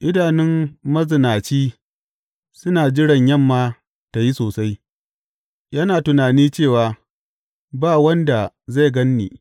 Idanun mazinaci suna jiran yamma ta yi sosai; yana tunani cewa, Ba wanda zai gan ni,’